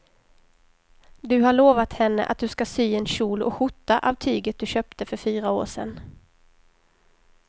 Du har lovat henne att du ska sy en kjol och skjorta av tyget du köpte för fyra år sedan.